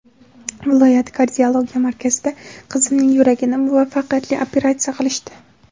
Viloyat kardiologiya markazida qizimning yuragini muvaffaqqiyatli operatsiya qilishdi.